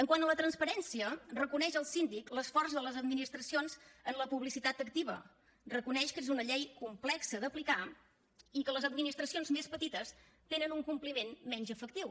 quant a la transparència reconeix el síndic l’esforç de les administracions en la publicitat activa reconeix que és una llei complexa d’aplicar i que les administracions més petites tenen un compliment menys efectiu